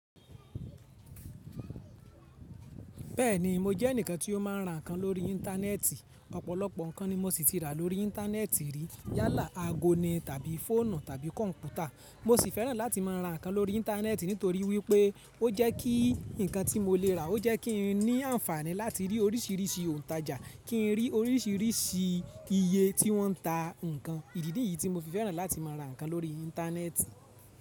Bẹ́ẹ̀ni, mo jẹ́ ẹnìkan tí ó máa ń ra nǹkan lórí íńtánẹ́ẹ̀tì. Ọ̀pọ̀lọ̀pọ̀ nǹkan ni mo ṣì tí rà lórí íńtánẹ́ẹ̀tì rí. Yálà aagó ni tàbí fóònù tàbí kọ̀ǹpútà. Mo sì fẹ́ràn láti máa ra nǹkan lórí íńtánẹ́ẹ̀tì nítorí wípé ó jẹ́ kí nǹkan tí mo lè rà ó jẹ́ kí n ní àǹfààní láti rí oríṣìíríṣìí òǹtajà, kí n rí oríṣìíríṣìí iye tí wọ́n ń ta nǹkan. Ìdí nìyí tí mo fi fẹ́ràn láti máa ra nǹkan lórí íńtánẹ́ẹ̀tì.